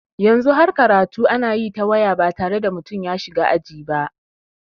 Yanzu har karatu ana yi ta waya ba tare da mutum ya shiga aji ba.